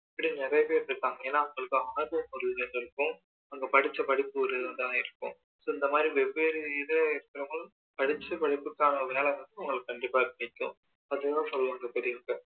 இப்படி நிறைய பேரு இருக்காங்க ஏனா அவங்களுக்கு ஒரு இருக்கும் அங்க படிச்ச படிப்பு ஒன்னா இருக்கும் இந்த மாதிரி வெவ்வேறு இது இருக்கவங்க படிச்ச படிப்புக்கான வேலை வந்து அவங்களுக்கு கண்டிப்பா கிடைக்கும் அதை தான் சொல்லுவாங்க பெரியவங்க